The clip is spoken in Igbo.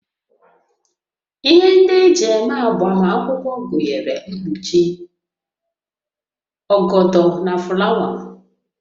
Ihe ndị eji eme agbamakwụkwọ gụnyere mkpuchi, ọgọdọ na fụlawa